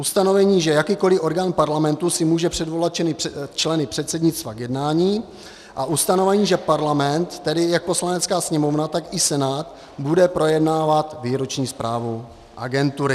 ustanovení, že jakýkoli orgán Parlamentu si může předvolat členy předsednictva k jednání; a ustanovení, že Parlament, tedy jak Poslanecká sněmovna, tak i Senát, bude projednávat výroční zprávu agentury.